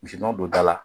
Misi nɔnɔ don da la